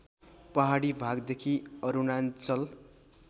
पहाडी भागदेखि अरुणाञ्चल